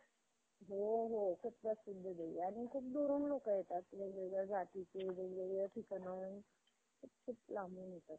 Company चे किंवा एखाद्या company चे shares पण असतात. कारखान्याचे shares असतात ते घेतात लोक तर त~ त्यामध्ये पण मला असं वाटतं की ते लोकं खूप कष्ट करून किंवा खूप समजुतीनं घेतात